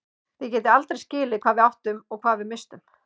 Þið getið aldrei skilið hvað við áttum og hvað við misstum.